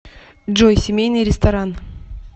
джой семейный ресторан